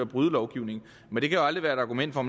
bryde lovgivningen men det kan aldrig være et argument for